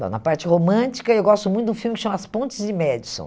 Bom, na parte romântica, eu gosto muito de um filme que se chama As Pontes de Madison.